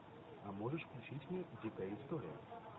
а можешь включить мне дикая история